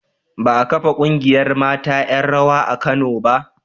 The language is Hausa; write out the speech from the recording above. Ba a kafa ƙungiyar mata 'yan rawa a Kano ba.